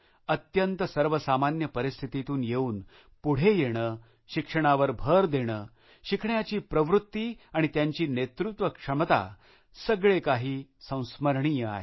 अत्यंत सर्वसामान्य परिस्थितीतून येऊन पुढे येणे शिक्षणावर भर देणे शिकण्याची प्रवृत्ती आणि त्यांची नेतृत्वक्षमता सगळे काही संस्मरणीय आहे